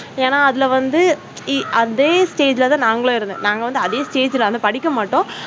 ஏன்னா அதுல வந்து அதே stage ல தான் நாங்களும் இருந்தா நாங்க வந்து அதே stage ல வந்து படிக்க மாட்டோம்